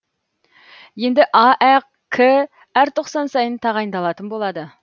енді аәк әр тоқсан сайын тағайындалатын болады